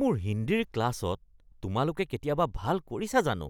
মোৰ হিন্দীৰ ক্লাছত তোমালোকে কেতিয়াবা ভাল কৰিছা জানো?